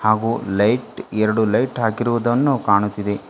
ಹಾಗು ಲೈಟ್ ಎರಡು ಲೈಟ್ ಹಾಕಿರುದನ್ನು ಕಾಣುತಿದೆ.